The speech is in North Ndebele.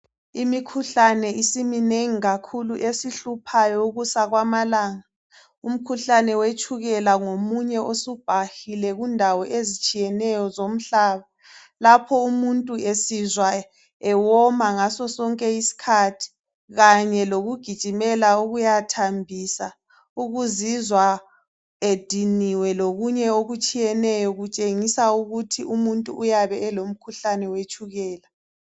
Imikhuhlane isiminengi kakhulu esihluphayo ukusa kwamalanga. Umkhuhlane wetshukela ngomunye osubhahile kundawo ezitshiyeneyo zomhlaba. Lapho umuntu esizwa ewoma ngaso sonke isikhathi kanye lokugijimela ukuya thambisa, ukuzizwa ediniwe lokunye okutshiyeneyo kutshengisa ukuthi umuntu uyabe elomkhuhlane wetshukela.